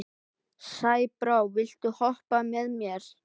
Sæbrá, viltu hoppa með mér?